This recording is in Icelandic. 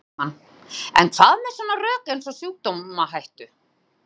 Logi Bergmann: En hvað með svona rök eins og sjúkdómahættu?